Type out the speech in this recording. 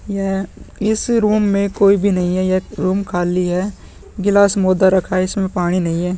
यह इस रूम में कोई भी नहीं है यह रूम खाली है गिलास मुदा रखा है इसमें पानी नहीं है।